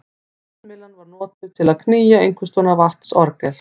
Vindmyllan var notuð til að knýja einhvers konar vatnsorgel.